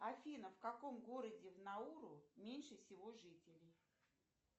афина в каком городе в науру меньше всего жителей